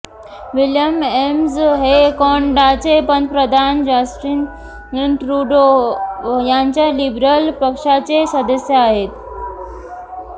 William Amos हे कॅनडाचे पंतप्रधान जस्टिन ट्रूडो यांच्या लिबरल पक्षाचे सदस्य आहेत